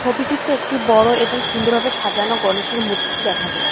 ছবিটিতে একটি বড় এবং সুন্দরভাবে সাজানো গনেশের মূর্তি দেখা যাচ্ছে।